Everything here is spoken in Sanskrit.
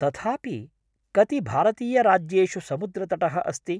तथापि कति भारतीयराज्येषु समुद्रतटः अस्ति?